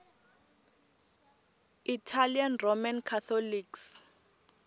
italian roman catholics